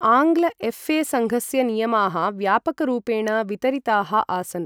आङ्ग्ल एफए सङ्घस्य नियमाः व्यापकरूपेण वितरिताः आसन् ।